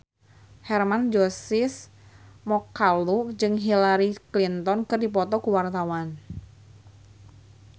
Hermann Josis Mokalu jeung Hillary Clinton keur dipoto ku wartawan